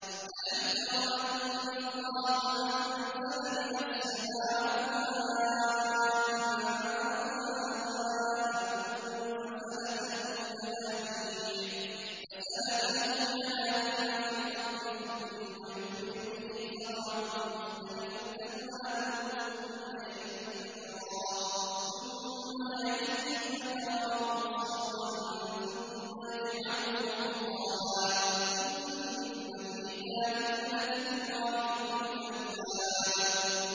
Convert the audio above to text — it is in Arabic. أَلَمْ تَرَ أَنَّ اللَّهَ أَنزَلَ مِنَ السَّمَاءِ مَاءً فَسَلَكَهُ يَنَابِيعَ فِي الْأَرْضِ ثُمَّ يُخْرِجُ بِهِ زَرْعًا مُّخْتَلِفًا أَلْوَانُهُ ثُمَّ يَهِيجُ فَتَرَاهُ مُصْفَرًّا ثُمَّ يَجْعَلُهُ حُطَامًا ۚ إِنَّ فِي ذَٰلِكَ لَذِكْرَىٰ لِأُولِي الْأَلْبَابِ